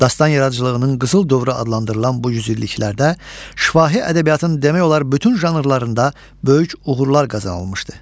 Dastan yaradıcılığının qızıl dövrü adlandırılan bu yüzilliklərdə şifahi ədəbiyyatın demək olar bütün janrlarında böyük uğurlar qazanılmışdı.